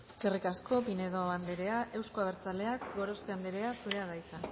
eskerrik asko pinedo anderea euzko abertzaleak gorospe anderea zurea da hitza